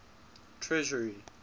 treasury